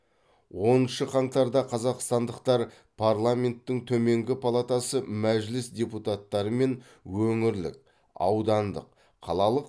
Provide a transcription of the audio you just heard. оныншы қаңтарда қазақстандықтар парламенттің төменгі палатасы мәжіліс депуттары мен өңірлік аудандық қалалық